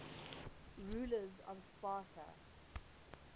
rulers of sparta